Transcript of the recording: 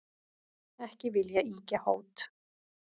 Ekki vil ég ýkja hót,